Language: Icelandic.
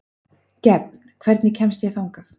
Gefn, hvernig kemst ég þangað?